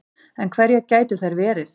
En hverjar gætu þær verið